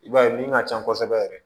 I b'a ye min ka can kosɛbɛ yɛrɛ